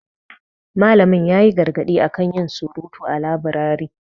Malamin ya yi gargadi a kan yin surutu a laburari.